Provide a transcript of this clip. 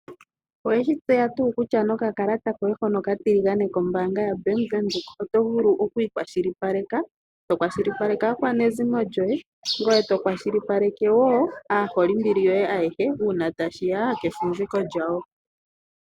Oweshi tseya tuu kutya nokakalata koye hono oka tiligane komba anga yaVenduka otovulu Oku ikwashilipaleka, to kwashilipaleke aakwazimo yoye ngoye to kwashilipaleke woo aaholimbili yoye ayehe ngele tashiya kefumviko lyawo.